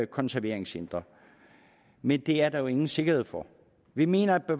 konserveringscentre men det er der jo ingen sikkerhed for vi mener at